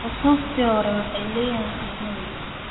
Xusuustii hore waxay leeyihiin qiimo weyn.